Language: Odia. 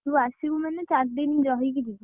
ତୁ ଆସିବୁ ମାନେ ଚାରି ଦିନି ରହିକି ଯିବୁ।